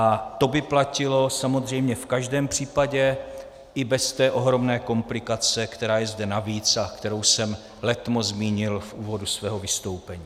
A to by platilo samozřejmě v každém případě i bez té ohromné komplikace, která je zde navíc a kterou jsem letmo zmínil v úvodu svého vystoupení.